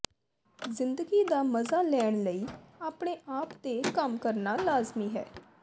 ਜ਼ਿੰਦਗੀ ਦਾ ਮਜ਼ਾ ਲੈਣ ਲਈ ਆਪਣੇ ਆਪ ਤੇ ਕੰਮ ਕਰਨਾ ਲਾਜ਼ਮੀ ਹੈ